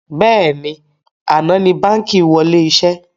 Bẹ́ẹ̀ni, àná ni báńkì wọlé iṣẹ́